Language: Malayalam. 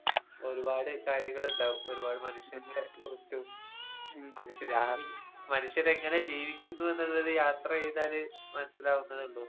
ഉം ഒരുപാട് കാര്യങ്ങളിണ്ടാവും ഒരുപാട് മനുഷ്യനെക്കുറിച്ചും മനുഷ്യ മനുഷ്യനെങ്ങനെ ജീവിക്കുന്നൂ എന്നുള്ളത് യാത്ര ചെയ്താല് മനസ്സിലാവുന്നതേ ഉള്ളൂ.